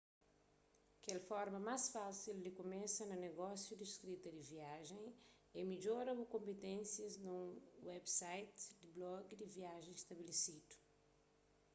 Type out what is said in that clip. kel forma más fásil di kumesa na negósiu di skrita di viajen é midjora bu konpiténsias nun website di blogi di viajen stabelesidu